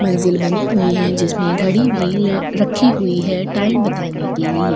मंजिल बनी हुई है जिसमें घड़ी भी ल रखी हुई है टाइम बताने के लिए --